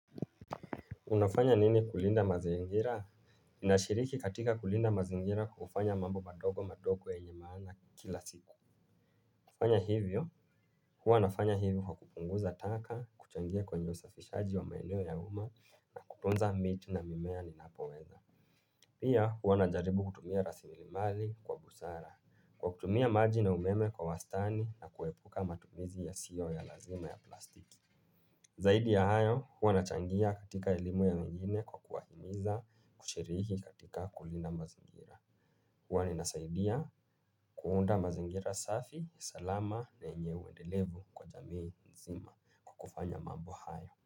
Unafanya nini kulinda mazingira? Ninashiriki katika kulinda mazingira kwa kufanya mambo madogo madogo yenye maana kila siku. Kufanya hivyo, huwa nafanya hivyo kwa kupunguza taka, kuchangia kwenye usafishaji wa maeneo ya uma na kuponza miti na mimea ninapoweza. Pia huwa najaribu kutumia rasilimali kwa busara, kwa kutumia maji na umeme kwa wastani na kuepuka matumizi ya sio ya lazima ya plastiki. Zaidi ya hayo, huwa nachangia katika elimu ya mengine kwa kuwa himiza kushiriki katika kulinda mazingira. Huwa ninasaidia kuunda mazingira safi, salama na yenye uendelevu kwa jamii nzima kwa kufanya mambo hayo.